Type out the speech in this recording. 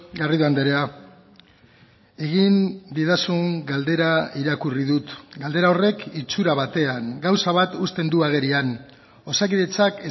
garrido andrea egin didazun galdera irakurri dut galdera horrek itxura batean gauza bat uzten du agerian osakidetzak